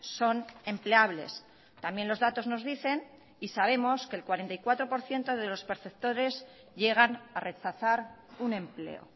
son empleables también los datos nos dicen y sabemos que el cuarenta y cuatro por ciento de los perceptores llegan a rechazar un empleo